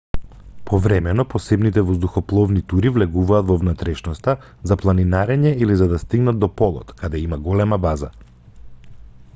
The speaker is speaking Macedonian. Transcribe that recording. повремено посебните воздухопловни тури влегуваат во внатрешноста за планинарење или за да стигнат до полот каде има голема база